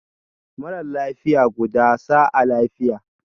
Mara lafiya, gudu sa'a lafiya